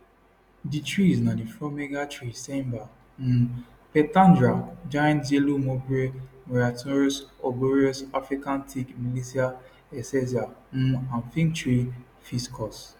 di trees na di fromager tree ceiba um pentandra giant yellow mulberry myrianthus arboreus african teak milicia excelsa um and fig trees ficus